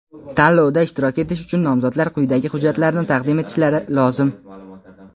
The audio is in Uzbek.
Tanlovda ishtirok etish uchun nomzodlar quyidagi hujjatlarni taqdim etishlari lozim:.